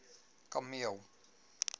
kameel